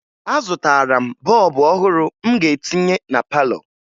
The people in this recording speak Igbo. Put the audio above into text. Azụtara m bọọbụ ọhụrụ m ga-etinye na palọ